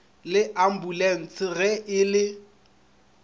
le ampulanse ge e le